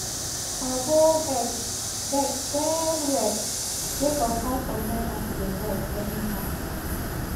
baggo vex vex wellwell sake of how some drivers dey drive anyhow